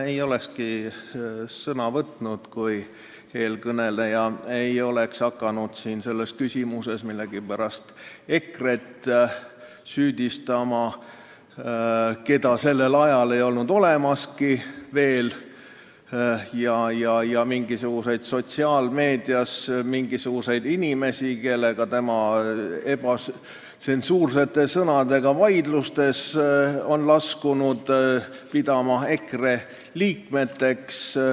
Ma ei olekski sõna võtnud, kui eelkõneleja ei oleks hakanud selles küsimuses millegipärast süüdistama EKRE-t, keda sellel ajal ei olnud olemaski, ja hakanud sotsiaalmeedias mingisuguseid inimesi, kellega tema ebatsensuurseid sõnu kasutades vaidlustesse on laskunud, pidama EKRE liikmeteks.